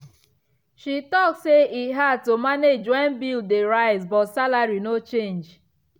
she talk say e hard to manage when bill dey rise but salary no change.